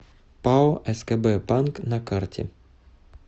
пао скб банк на карте